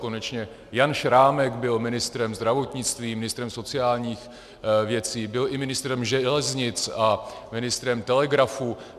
Konečně Jan Šrámek byl ministrem zdravotnictví, ministrem sociálních věcí, byl i ministrem železnic a ministrem telegrafů.